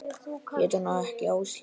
Hét hún ekki Áslaug?